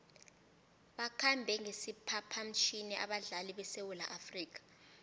bakhambe ngesiphaphamtjhini abadlali besewula afrika